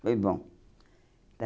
Foi bom.